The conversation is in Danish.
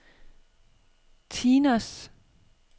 Tinos